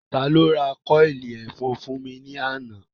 Ta ló ra kọ́ọ̀lì ẹ̀fọn fún mi ní àná?